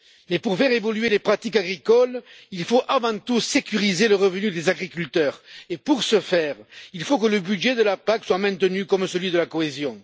Mais pour faire évoluer les pratiques agricoles, il faut avant tout sécuriser le revenu des agriculteurs et pour ce faire, il faut que le budget de la PAC soit maintenu, comme celui de la cohésion.